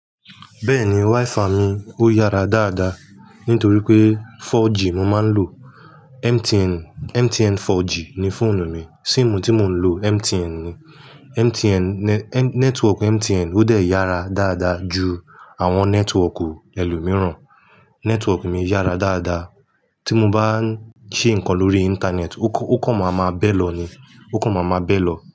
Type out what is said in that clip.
Bẹ́ẹ̀ni wáífà mi ó yára dáadáa nítorí pé 4G mo máa ń lò. MTN, MTN 4G ni fóònù mi. Síìmù tí mo ń lò MTN ni. MTN, nẹ́, network MTN ó dẹ̀ yára dáadáa ju àwọn nẹ́tíwọ́ọ̀kì ẹlòmíràn. Nẹ́tíwọ́ọ̀kì mi yára dáadáa. Tí mo bá ń ṣe nǹkan lórí íńtánẹ́ẹ̀tì ó kan, ó kan máa ma bẹ́ lọ ni. Ó kan máa ma bẹ́ lọ.